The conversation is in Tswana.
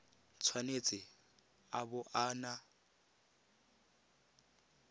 tshwanetse a bo a na